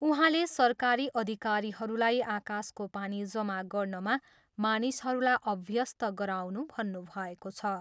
उहाँले सरकारी अधिकारीहरूलाई आकाशको पानी जमा गर्नमा मानिसहरूलाई अभ्यस्त गराउनु भन्नुभएको छ।